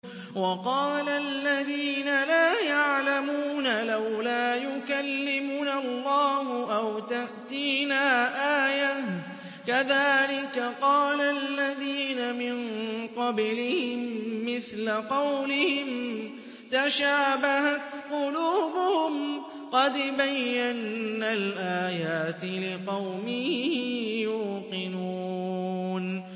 وَقَالَ الَّذِينَ لَا يَعْلَمُونَ لَوْلَا يُكَلِّمُنَا اللَّهُ أَوْ تَأْتِينَا آيَةٌ ۗ كَذَٰلِكَ قَالَ الَّذِينَ مِن قَبْلِهِم مِّثْلَ قَوْلِهِمْ ۘ تَشَابَهَتْ قُلُوبُهُمْ ۗ قَدْ بَيَّنَّا الْآيَاتِ لِقَوْمٍ يُوقِنُونَ